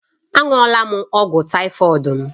Aṅụọal m ọgwụ tàífọ̀d m